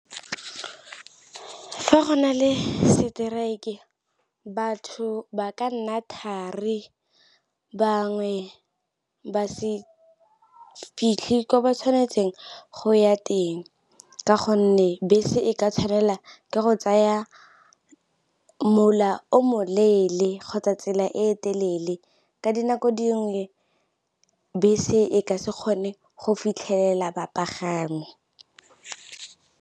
Fa go na le strike batho ba ka nna thari, bangwe ba se fitlhe ko ba tshwanetseng go ya teng, ka gonne bese e ka tshwanela ke go tsaya mola o moleele kgotsa tsela e e telele ka dinako dingwe bese e ka se kgone go fitlhelela bapagami.